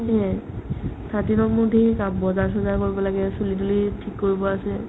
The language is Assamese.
সেইপিনে thirteen ত মোৰ ধেৰ কাম বজাৰ-চজাৰ কৰিব লাগে , চুলি-তুলি থিক কৰিব আছে